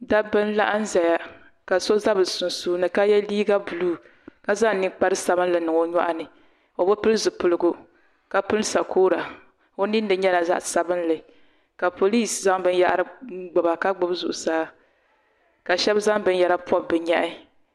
Dabba n laɣim zaya ka so za bi sunsuuni ka yɛ liiga buluu ka zaŋ ninkpara sabinli n niŋ nyɔɣu ni o bi pili zipiligu ka pini sakora o nini ni nyɛla zaɣa sabinli ka poliis zaŋ bin yahiri gbuba ka gbubi zuɣusaa ka shɛba zaŋ bin yara pɔbi bi nyɛhi.